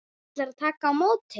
Ætlar að taka á móti.